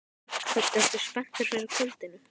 Hödd: Ertu spenntur fyrir kvöldinu?